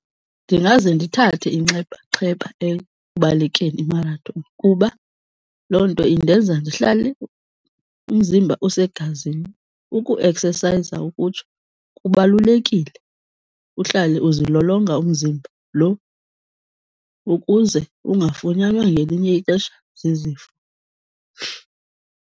Ndingaze ndithathe inxabaxheba ekubalekeni imarathoni kuba loo nto indenza ndihlale umzimba usegazini, ukueksesayiza ukutsho. Kubalulekile uhlale uzilolonga umzimba lo ukuze ungafunyanwa ngelinye ixesha zizifo.